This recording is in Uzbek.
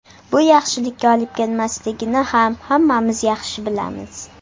Bu yaxshilikka olib kelmasligini ham hammamiz yaxshi bilamiz.